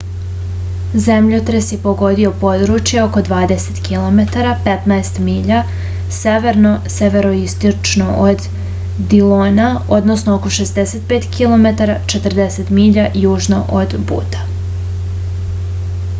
земљотрес је погодио подручје око 20 km 15 миља северно-североисточно од дилона односно око 65 km 40 миља јужно од бута